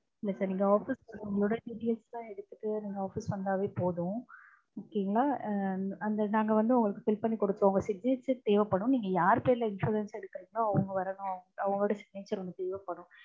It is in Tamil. இல்ல sir நீங்க office க்கு உங்களோட details லாம் எடுத்துட்டு நீங்க office க்கு வந்தாவே போதும். okay ங்களா? ஆ அந்த நாங்க வந்து உங்களுக்கு help பண்ணி கொடுப்போம். உங்க signature தேவைப்படும். நீங்க யார் பேர்ல insurance எடுக்கறீங்களோ அவங்க வரணும். அவங்களோட signature ஒன்னு தேவைப்படும்.